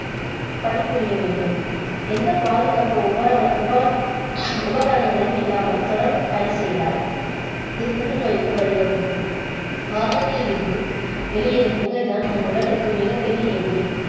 பணிபுரிய வேண்டும். எந்த பாதுகாப்பு உபரகர~ உபர~ உபகரணங்களும் இல்லாமல் தொடர்ந்து பணி செய்தால் ~து புற்று நோய்க்கு வழி வகுக்கும் வாகங்களில் இருந்து வெளியேறும் புகை தான் நம் உடலுக்கு மிகப் பெரிய எதிரி.